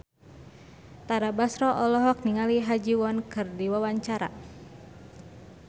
Tara Basro olohok ningali Ha Ji Won keur diwawancara